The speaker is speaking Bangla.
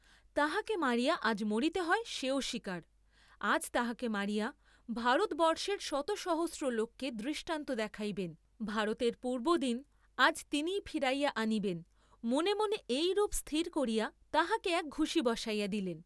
তাহাকে মারিয়া আজ মরিতে হয় সেও স্বীকার, আজ তাহাকে মারিয়া, ভারতবর্ষের শত সহস্র লোককে দৃষ্টান্ত দেখাইবেন, ভারতের পূর্ব্বদিন আজ তিনিই ফিরাইয়া আনিবেন মনে মনে এইরূপ স্থির করিয়া তাহাকে এক ঘুসী বসাইয়া দিলেন।